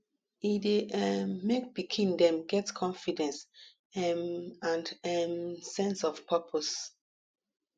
e dey um make pikin dem get confidence um and um sense of purpose